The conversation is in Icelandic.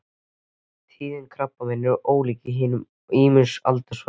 Tíðni krabbameina er ólík í hinum ýmsu aldursflokkum.